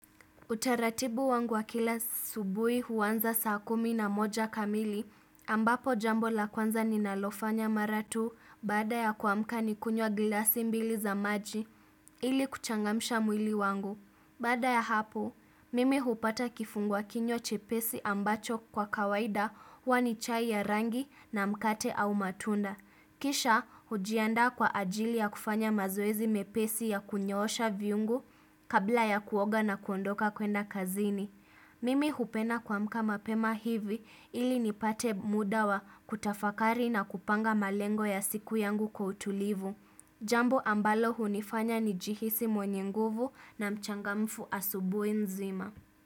Utaratibu wangu wa kila asubuhi huanza saa kumi na moja kamili ambapo jambo la kwanza ninalofanya mara tu baada ya kuamka nikunywa glasi mbili za maji ili kuchangamisha mwili wangu. Baada ya hapo, mimi hupata kifungwa kinywa chepesi ambacho kwa kawaida huwa ni chai ya rangi na mkate au matunda. Kisha, hujiandaa kwa ajili ya kufanya mazoezi mepesi ya kunyoosha viungu kabla ya kuoga na kuondoka kwenda kazini. Mimi hupena kuamka mapema hivi ili nipate muda wa kutafakari na kupanga malengo ya siku yangu kwa utulivu. Jambo ambalo hunifanya ni jihisi mwenye nguvu na mchangamfu asubuhi nzima.